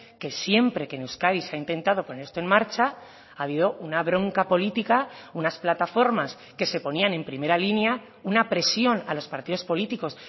que siempre que en euskadi se ha intentado poner esto en marcha ha habido una bronca política unas plataformas que se ponían en primera línea una presión a los partidos políticos